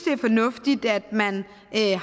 er fornuftigt at man